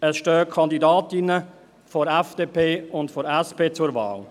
Es stehen Kandidatinnen der FDP und der SP zur Wahl.